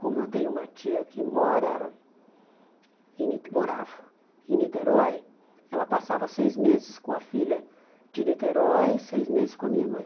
Como eu tenho uma tia que mora em Nite morava em Niterói, ela passava seis meses com a filha de Niterói e seis meses com a minha mãe.